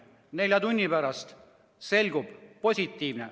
Nelja tunni pärast selgub, et positiivne.